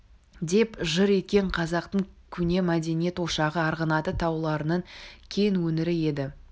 деп жыр еткен қазақтың көне мәдениет ошағы арғынаты тауларының кең өңірі еді